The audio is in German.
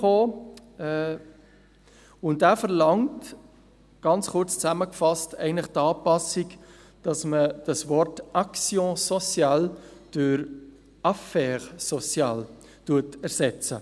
Dieser verlangte, kurz zusammengefasst, die Anpassung, dass man das Wort «actions sociales» durch «affaires sociales» ersetzt.